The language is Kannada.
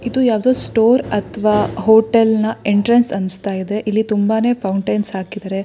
ಇದು ಯಾವ್ದೋ ಸ್ಟೋರ್ ಅಥವಾ ಹೋಟೆಲ್ನ ಎಂಟ್ರೆನ್ಸ್ ಅನ್ಸ್ತಾ ಇದೆ ಇಲ್ಲಿ ತುಂಬಾನೇ ಫೌಂಟನ್ನ್ಸ್ ಹಾಕಿದ್ದಾರೆ.